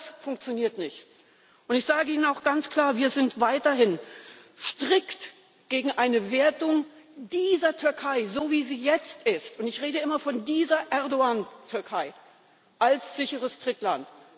Das funktioniert nicht, und ich sage Ihnen auch ganz klar Wir sind weiterhin strikt gegen eine Wertung dieser Türkei so, wie sie jetzt ist und ich rede immer von dieser Erdoğan Türkei als sicheres Drittland.